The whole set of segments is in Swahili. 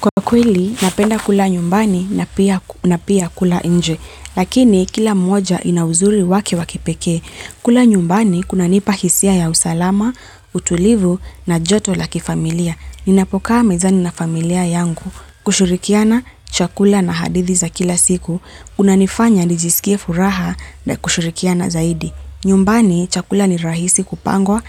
Kwa kweli, napenda kula nyumbani na pia kula nje, lakini kila mmoja ina uzuri wake wa kipekee. Kula nyumbani, kunanipa hisia ya usalama, utulivu na joto la kifamilia. Ninapokaa mezani na familia yangu kushirikiana chakula na hadithi za kila siku. Unanifanya nijisikie furaha na kushirikiana zaidi. Nyumbani chakula ni rahisi kupangwa,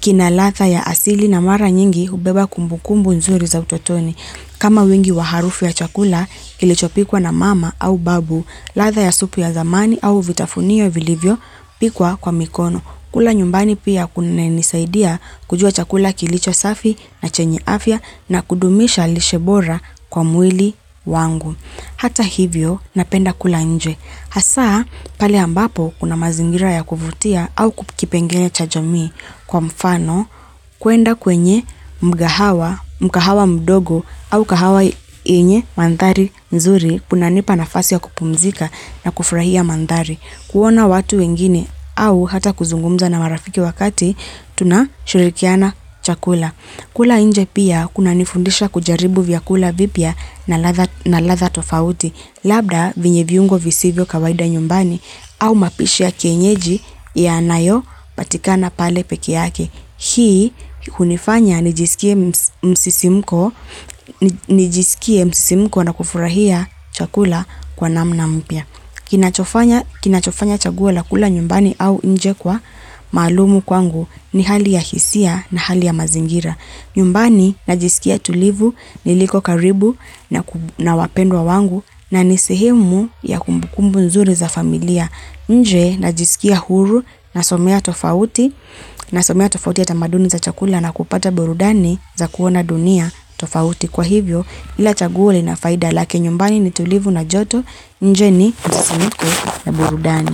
kina ladha ya asili na mara nyingi hubeba kumbukumbu nzuri za utotoni. Kama wingi wa harufu ya chakula kilichopikwa na mama au babu, ladha ya supu ya zamani au vitafunio vilivyopikwa kwa mikono. Kula nyumbani pia kunanisaidia kujua chakula kilicho safi na chenye afya na kudumisha lishe bora kwa mwili wangu. Hata hivyo napenda kula nje. Hasa pale ambapo kuna mazingira ya kuvutia au kipengele cha jamii kwa mfano kuenda kwenye mkahawa mdogo au mkahawa yenye mandhari nzuri kunanipa nafasi ya kupumzika na kufurahia mandhari. Kuona watu wengine au hata kuzungumza na marafiki wakati tunashirikiana chakula. Kula nje pia kunanifundisha kujaribu vyakula vipya na ladha na ladha tofauti. Labda vyenye viungo visivyo kawaida nyumbani au mapishi ya kienyeji yanayopatikana pale pekee yake. Hii hunifanya nijisikie msisimko na kufurahia chakula kwa namna mpya. Kinachofanya Kinachofanya chaguo la kula nyumbani au nje kwa maalum kwangu ni hali ya hisia na hali ya mazingira. Nyumbani najisikia tulivu niliko karibu na wapendwa wangu na nisehemu ya kumbukumbu nzuri za familia. Nje najisikia huru, nasomea tofauti, nasomea tofauti ya tamaduni za chakula na kupata burudani za kuona dunia tofauti. Kwa hivyo kila chaguo lina faida lake nyumbani ni tulivu na joto, nje ni msisimko na burudani.